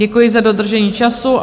Děkuji za dodržení času.